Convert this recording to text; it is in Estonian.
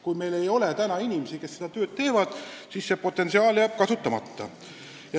Kui meil ei ole inimesi, kes seda tööd teevad, siis see potentsiaal jääb kasutamata.